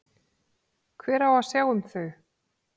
Hver á að sjá um þau?